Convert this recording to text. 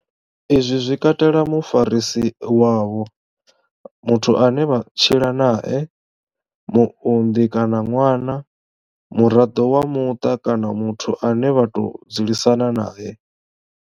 Izwi zwi katela mufarisi wavho, muthu ane vha tshila nae, muunḓi kana ṅwana, muraḓo wa muṱa kana muthu ane vha tou dzulisana nae.